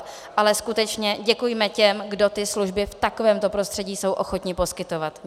Ale skutečně děkujme těm, kdo ty služby v takovémto prostředí jsou ochotni poskytovat.